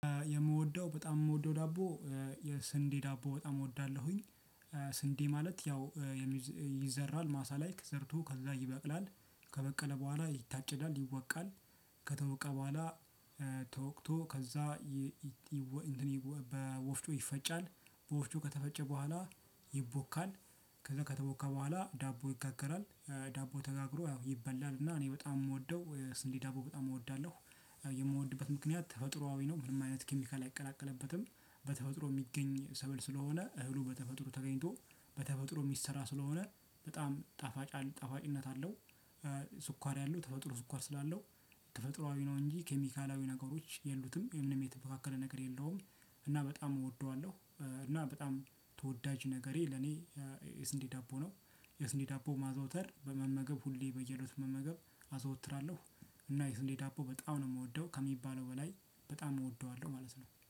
የምወደው በጣም የምወደው ዳቦ የስንዴ ዳቦ በጣም እወዳለሁኝ። ስንዴ ማለት ያው ይዘራል ማሳ ላይ ተዘርቶ ከዛ ይበቅላል። ከበቀለ በኋላ ይታጨዳል። ይወቃል። ከተወቃ በኋላ ተወቅቶ ከዛ በወፍጮ ይፈጫል። በወፍጮ ከተፈጨ በኋላ ይቦካል። ከዛ ከተቦካ በኋላ ዳቦ ይጋገራል። ዳቦ ተጋግሮ ያው ይበላል እና እኔ በጣም የምወደው የስንዴ ዳቦ በጣም እወዳለሁ። የምወድበት ምክንያት ተፈጥሮአዊ ነው። ምንም አይነት ኬሚካል አይቀላቀልበትም። በተፈጥሮ የሚገኝ ሰብል ስለሆነ እህሉ በተፈጥሮ ተገኝቶ በተፈጥሮ የሚሰራ ስለሆነ በጣም ጣፋጭ ጣፋጭነት አለው። ስኳር ያለው ተፈጥሮ ስኳር ስላለው ተፈጥሮአዊ ነው እንጂ ኬሚካላዊ ነገሮች የሉትም። ምንም የተበካከለ ነገር የለውም። እና በጣም እወደዋለሁ እና በጣም ተወዳጅ ነገሬ ለኔ የስንዴ ዳቦ ነው። የስንዴ ዳቦ ማዘውተር በመመገብ ሁሌ በየእለቱ መመገብ አዘወትራለሁ። እና ስንዴ ዳቦ በጣም ነው የምወደው ከሚባለው በላይ በጣም እወደዋለሁ ማለት ነው።